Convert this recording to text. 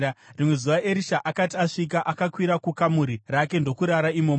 Rimwe zuva Erisha akati asvika, akakwira kukamuri rake ndokurara imomo.